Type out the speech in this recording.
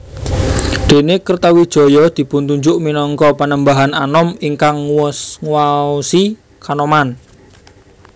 Dene Kertawijaya dipuntunjuk minangka Panembahan Anom ingkang nguwaosi Kanoman